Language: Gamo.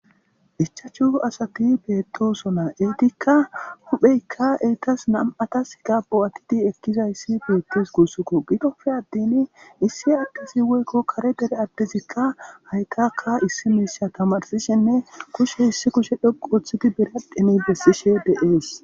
Ichchashu asati bettosona eetikka huphpheykka eetas nam'ataska bo'atidi ekkidayssi bettes gussuko giddoppe attin issi addezi woykko kaare deere addezi hayttaka issi mishshe tamarsishennne kushshe issi kushshe dhoqqu oththidi biradhen besishe de'es.